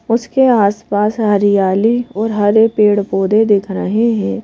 उसके आस पास हरियाली और हरे पेड़ पौधे दिख रहे हैं।